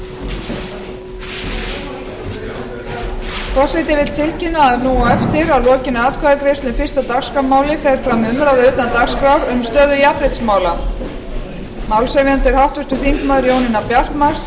forseti vill tilkynna að nú á eftir að lokinni atkvæðagreiðslu um fyrsta dagskrármálið fer fram umræða utan dagskrár um stöðu jafnréttismála málshefjandi er háttvirtur þingmaður jónína bjartmarz